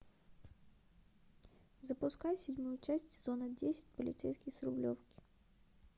запускай седьмую часть сезона десять полицейский с рублевки